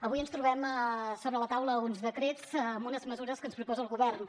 avui ens trobem sobre la taula uns decrets amb unes mesures que ens proposa el govern